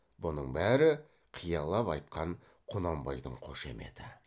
бұның бәрі қиялап айтқан құнанбайдың қошеметі